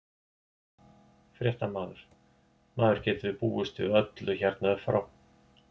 Fréttamaður: Maður getur búist við öllu hérna uppfrá?